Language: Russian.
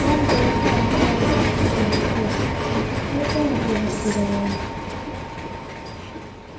вам-то я знаю ни жарко ни холодно что вас исключили да и тому тоже сказала она